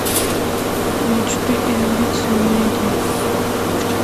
мечты и амбиции найди